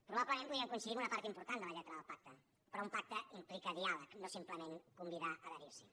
probablement podríem coincidir en una part important de la lletra del pacte però un pacte implica diàleg no simplement convidar a adherir s’hi